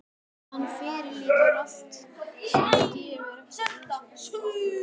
Hann fyrirlítur allt sem gefur eftir einsog Ísbjörg veit.